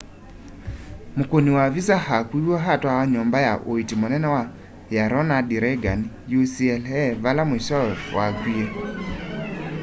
mûkûni wa visa akuiwe atwawa nyumba ya uiiti munene ya ronald reagan ucla vala mwisowe wakwie